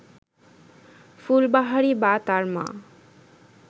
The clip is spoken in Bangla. ফুলবাহারি বা তার মা